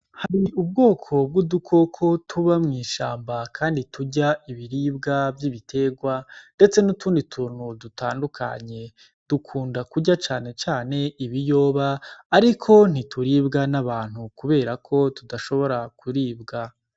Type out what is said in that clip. Hari ubwoko bw’udukoko tuba mw’ishamba kandi turya ibiribwa vy’ibiterwa ndetse n’utundi tuntu dutandukanye. Dukunda kurya cane cane ibiyoba, ariko ntituribwa n’abantu kubera ko tudashobora kuribwa.